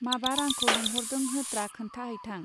माबार आंखौ लेंहरदों होत्रा खोन्था हैथां.